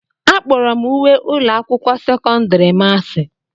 Akpọrọ m uwe ụlọ akwụkwọ sekọndiri m asị.